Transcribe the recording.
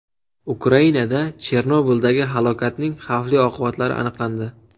Ukrainada Chernobildagi halokatning xavfli oqibatlari aniqlandi.